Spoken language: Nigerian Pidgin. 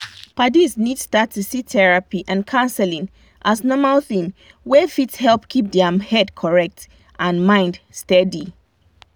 padis need start to see therapy and counseling as normal thing wey fit help keep their head correct and mind steady.